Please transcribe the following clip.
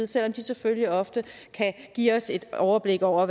selv om de selvfølgelig ofte kan give os et overblik over